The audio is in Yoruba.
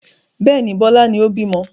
Bẹ́ẹ̀ni, Bọlá ni ó bímọ